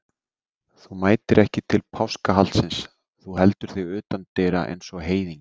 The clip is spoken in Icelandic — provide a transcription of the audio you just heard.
Þú mætir ekki til páskahaldsins, þú heldur þig utan dyra eins og heiðingi.